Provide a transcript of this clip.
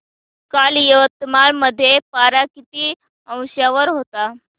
काल यवतमाळ मध्ये पारा किती अंशावर होता